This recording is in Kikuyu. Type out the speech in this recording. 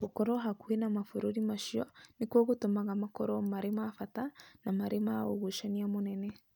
"Gũkorũo hakuhĩ na mabũrũri macio nĩkuo gũtũmaga makorũo marĩ ma bata na marĩ na ũgucania mũnene".